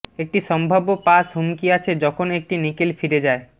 একটি সম্ভাব্য পাস হুমকি আছে যখন একটি নিকেল ফিরে যায়